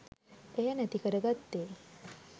එය නැතිකර ගත්තේ